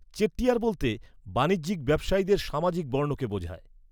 "চেট্টিয়ার" বলতে বাণিজ্যিক ব্যবসায়ীদের সামাজিক বর্ণকে বোঝায়।